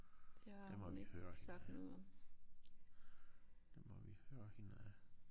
Det må vi høre hende ad. Det må vi høre hende ad